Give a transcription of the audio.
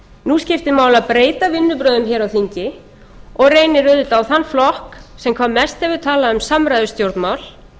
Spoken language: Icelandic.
nú skiptir máli að breyta vinnubrögðum hér á þingi og reynir auðvitað á þann flokk sem hvað mest hefur talað um samræðustjórnmál